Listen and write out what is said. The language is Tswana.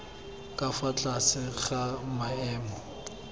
ka fa tlase ga maemo